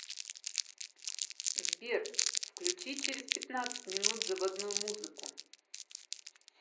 сбер включи через пятнадцать минут заводную музыку